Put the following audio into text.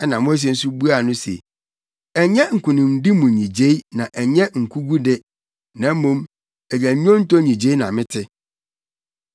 Ɛnna Mose nso buaa no se, “Ɛnyɛ nkonimdi mu nnyigyei na ɛnyɛ nkogu de, na mmom, ɛyɛ nnwonto nnyigyei na mete.”